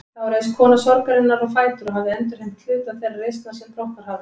Þá reis kona sorgarinnar á fætur og hafði endurheimt hluta þeirrar reisnar sem brotnað hafði.